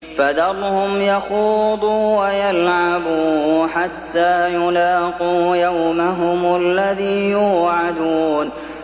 فَذَرْهُمْ يَخُوضُوا وَيَلْعَبُوا حَتَّىٰ يُلَاقُوا يَوْمَهُمُ الَّذِي يُوعَدُونَ